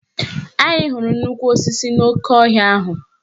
Anyị hụrụ nnukwu osisi n'oke ọhịa ahụ.